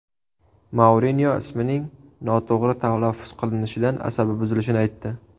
Mourinyo ismining noto‘g‘ri talaffuz qilinishidan asabi buzilishini aytdi.